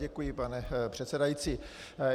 Děkuji, pane předsedající.